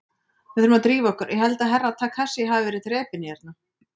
Við þurfum að drífa okkur, ég held að Herra Takashi hafi verið drepinn hérna.